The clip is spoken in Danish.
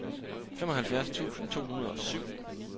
femoghalvfjerds tusind to hundrede og syv